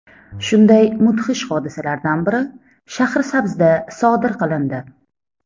Shunday mudhish hodisalardan biri Shahrisabzda sodir qilindi.